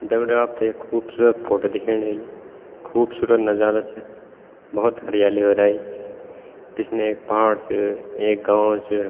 दग्ड़ियों आपथे ये खूबसूरत फोटो दिखेणी ह्वेली खूबसूरत नजारा च भोत हरियाली हेराई पिछने एक पहाड़ च एक गाँव च --